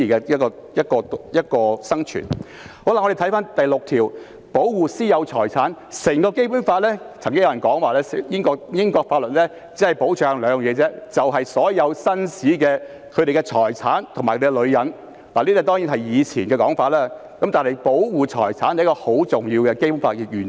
至於第六條提及"保護私有財產"，曾經有人說英國法律只保障兩方面，就是所有紳士的財產和他們的女人，這當然是以前的說法，但保護財產是《基本法》中很重要的原則。